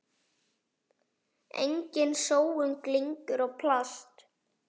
Engin sóun, glingur og plast.